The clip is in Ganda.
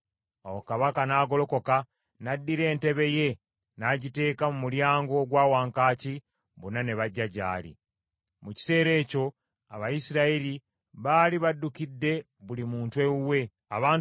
Awo kabaka n’agolokoka, n’addira entebe ye n’agiteeka mu mulyango ogwa wankaaki, bonna ne bajja gy’ali. Dawudi Addayo e Yerusaalemi Mu kiseera ekyo Abayisirayiri baali baddukidde buli muntu ewuwe.